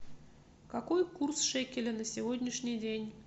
какой курс шекеля на сегодняшний день